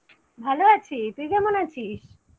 ভালো আছি। তুই কেমন আছিস?